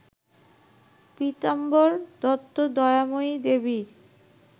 পীতাম্বর দত্ত দয়াময়ী দেবীর